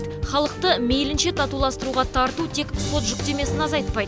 халықты мейлінше татуластыруға тарту тек ход жүктемесін азайтпайды